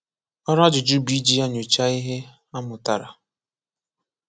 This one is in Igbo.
Ọrụ ajụjụ bụ iji ya nyochaa ihe a mụtara.